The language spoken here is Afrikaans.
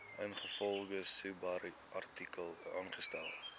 ingevolge subartikel aangestel